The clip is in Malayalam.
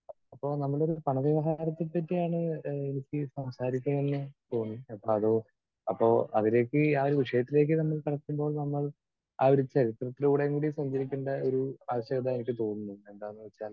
സ്പീക്കർ 2 അപ്പോൾ നമ്മളൊരു പണവ്യവഹാരത്തെ പറ്റിയാണ് ഏഹ് എനിക്ക് സംസാരിക്കണമെന്ന് തോന്നിയത്. അപ്പൊ അതോ അപ്പോ അതിലേക്ക് ആ ഒരു വിഷയത്തിലേക്ക് തന്നെ നടക്കുമ്പോൾ നമ്മൾ ആ ഒരു ചരിത്രത്തിലൂടെയെങ്കിലും സഞ്ചരിക്കേണ്ട ഒരു ആവശ്യകത എനിക്ക് തോന്നുന്നു. എന്താന്നുവെച്ചാൽ